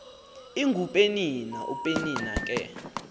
ingupenina upenina ke